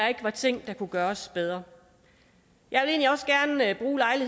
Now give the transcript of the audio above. var ting der kunne gøres bedre jeg